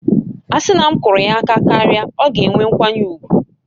A sị na m kụrụ ya aka karịa, ọ ga-enwe nkwanye ùgwù